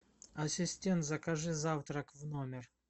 ассистент закажи завтрак в номер